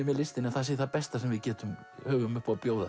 með listinni að það sé það besta sem við höfum upp á að bjóða